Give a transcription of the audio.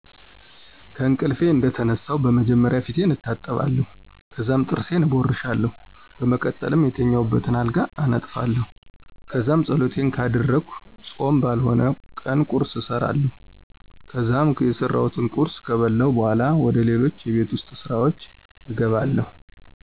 ከእንቅልፌ እንደተነሳሁ በመጀመሪያ ፊቴን እታጠባለሁ፣ ከዛም ጥርሴን እቦርሻለሁ፣ በመቀጠልም የተኛሁበትን አልጋ አነጥፋለሁ። ከዛም ፀሎቴን ካደረግኩ ፆም ባልሆነበት ቀን ቁርስ እሰራለሁ ከዛም የሰራሁትን ቁርስ ከበለሁ በኋላ ወደ ሌሎች የቤት ውስጥ ስራወች እገባለሁ።